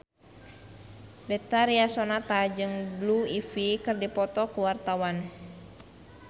Betharia Sonata jeung Blue Ivy keur dipoto ku wartawan